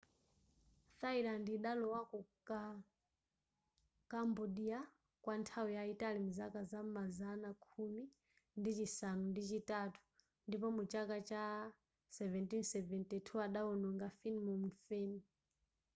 thailand idalowako kuka cambodia kwa nthawi zambiri mzaka za m'mazana khumi ndi chisanu ndi chitatu ndipo mu chaka cha 1772 adawononga phnom phen